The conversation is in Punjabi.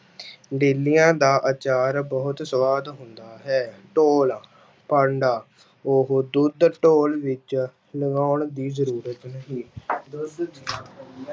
ਡੇਲਿਆਂ ਦਾ ਆਚਾਰ ਬਹੁਤ ਸਵਾਦ ਹੁੰਦਾ ਹੈ, ਢੋਲ, ਭਾਂਡਾ, ਉਹ ਦੁੱਧ ਢੋਲ ਵਿੱਚ ਲਗਾਉਣ ਦੀ ਜ਼ਰੂਰਤ ਨਹੀਂ ਦੁੱਧ ਦੀਆਂ